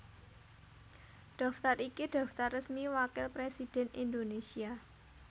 Daftar iki daftar resmi Wakil Presidhèn Indonésia